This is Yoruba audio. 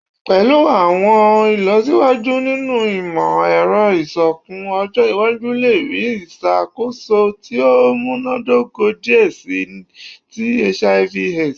Pẹlu awọn ilọsiwaju ninu imọ-ẹrọ iṣoogun, ọjọ iwaju le rii iṣakoso ti o munadoko diẹ sii ti HIV/AIDS